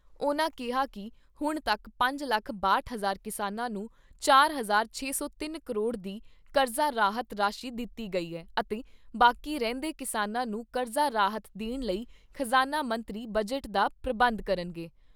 ਉਨ੍ਹਾਂ ਕਿਹਾ ਕਿ ਹੁਣ ਤੱਕ ਪੰਜ ਲੱਖ ਬਾਹਟ ਹਜ਼ਾਰ ਕਿਸਾਨਾਂ ਨੂੰ ਚਾਰ ਹਜ਼ਾਰ ਛੇ , ਸੌ ਤਿੰਨ ਕਰੋੜ ਦੀ ਕਰਜ਼ਾ ਰਾਹਤ ਰਾਸ਼ੀ ਦਿੱਤੀ ਗਈ ਐ ਅਤੇ ਬਾਕੀ ਰਹਿੰਦੇ ਕਿਸਾਨਾਂ ਨੂੰ ਕਰਜ਼ਾ ਰਾਹਤ ਦੇਣ ਲਈ ਖਜਾਨਾ ਮੰਤਰੀ ਬਜਟ ਦਾ ਪ੍ਰਬੰਧ ਕਰਨਗੇ।